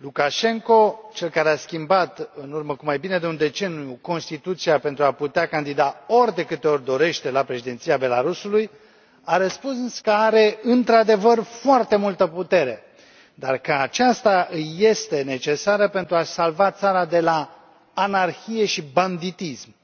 Lukașenko, cel care a schimbat, în urmă cu mai bine de un deceniu, Constituția pentru a putea candida ori de câte ori dorește la președinția Belarusului, a răspuns că are, într adevăr, foarte multă putere, dar că aceasta îi este necesară pentru a salva țara de la anarhie și banditism.